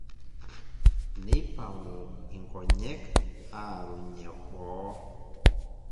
neipang'u inkonyek aarunye boo